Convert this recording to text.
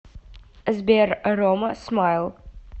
сбер рома смайл